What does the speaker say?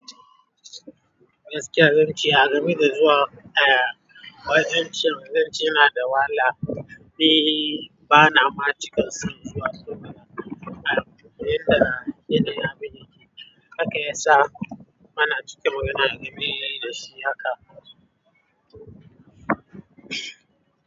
Gaskiya zanci, agame da zuwa ee, wajen ci zance yana da wahala. Ni bana ma cika son zuwa sana'ar kaya, inda yana yi na aminci. Haka ya sa bana cika magana game da shi. Haka.